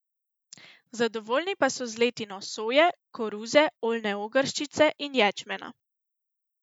Zadovoljni pa so z letino soje, koruze, oljne ogrščice in ječmena.